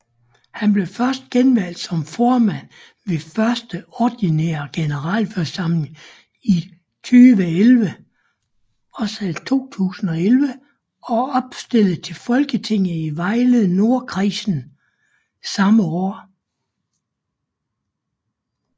Han blev genvalgt som formand ved første ordinære generalforsamling i 2011 og opstillet til Folketinget i Vejle Nordkredsen samme år